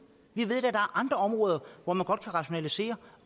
vi ved er andre områder hvor man godt kan rationalisere